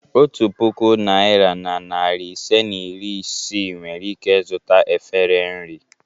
Otu puku naịra na narị ise na iri isii nwere ike zụta efere nri.